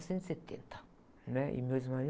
Cento e setenta, né? E meu ex-marido...